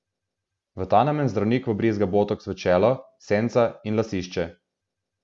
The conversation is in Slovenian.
V ta namen zdravnik vbrizga botoks v čelo, senca in lasišče.